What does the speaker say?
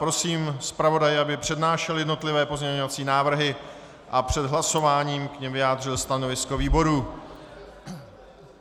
Prosím zpravodaje, aby přednášel jednotlivé pozměňovací návrhy a před hlasováním k nim vyjádřil stanovisko výboru.